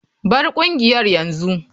Bar kungiyar yanzu.